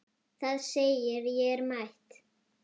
Það segir: Ég er mætt!